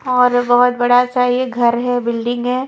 और बहुत बड़ा सा ये घर है बिल्डिंग है।